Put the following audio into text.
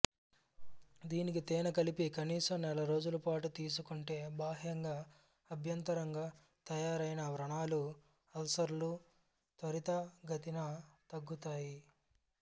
దీనికి తేనె కలిపి కనీసం నెలరోజులపాటు తీసుకుంటే బాహ్యంగా అభ్యంతరంగా తయారైన వ్రణాలు అల్సర్లు త్వరితగతిన తగ్గుతాయి